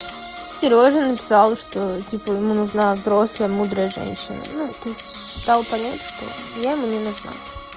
серёжа написал что типа ему нужна взрослая мудрая женщина ну дал понять что я ему не нужна